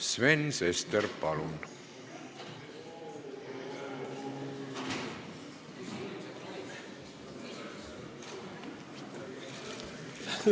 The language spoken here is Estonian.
Sven Sester, palun!